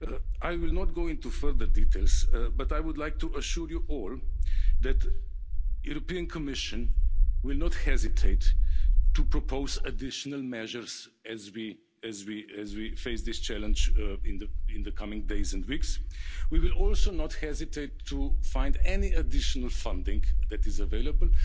I will not go into further details, but I would like to assure you all that the Commission will not hesitate to propose additional measures as we face this challenge in the coming days and weeks. We will also not hesitate to find any additional funding that is available.